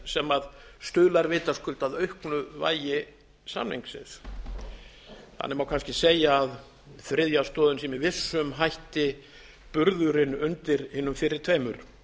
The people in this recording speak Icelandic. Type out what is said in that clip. sem stuðlar vitaskuld að auknu vægi samningsins þannig má kannski segja að þriðja stoðin sé með vissum hætti burðurinn undir hinum fyrri tveimur